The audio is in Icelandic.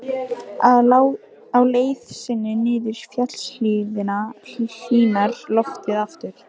Á leið sinni niður fjallshlíðina hlýnar loftið aftur.